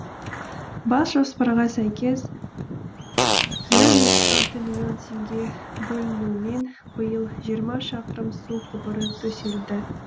бас жоспарға сәйкес жүз жетпіс алты миллион теңге бөлінуімен биыл жиырма шақырым су құбыры төселді